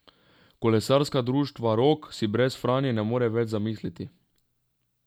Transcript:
Kolesarskega društva Rog si brez Franje ne morem več zamisliti.